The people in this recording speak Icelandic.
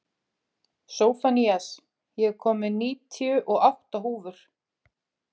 Sophanías, ég kom með níutíu og átta húfur!